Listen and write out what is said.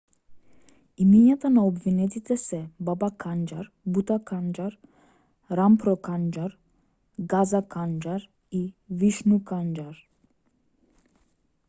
имињата на обвинетите се баба канџар бута канџар рампро канџар газа канџар и вишну канџар